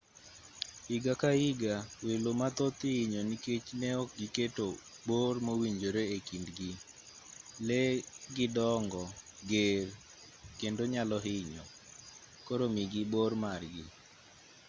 higa ka higa welo mathoth ihinyo nikech neok giketo bor mowinjore ekindgi lee gi dongo ger kendo nyalo hinyo koro migi bor margi